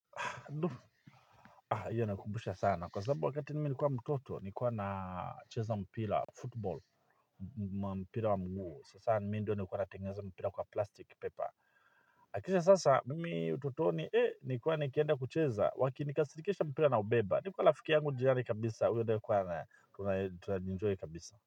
Kwa sababu wakati mimi nilikuwa mtoto, nilikuwa nacheza mpira football, mpira wa miguu, sasa mimi ndio nilikuwa natengeza mpira kwa plastic paper. Lakini sasa, mimi utotoni, eh, nilikuwa nikienda kucheza, wakinikasirikisha mpira na ubeba, nilikuwa rafiki yangu jirani kabisa, uyo ndio nilikuwa, na tunaji enjoy kabisa.